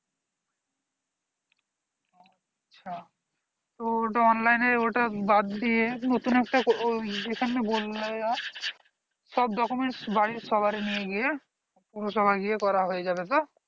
আচ্ছা তো online এ ওটা বাদ দিয়ে নতুন একটা ওই যেখানে বললে সব document বাড়ির সবারির নিয়ে গিয়ে পৌরসভায় গিয়ে করা হয়ে যাবে তো